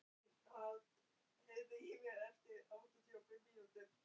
Allt var í röð og reglu, dagarnir eins.